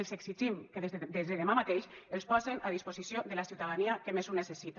els exigim que des de demà mateix els posen a disposició de la ciutadania que més ho necessita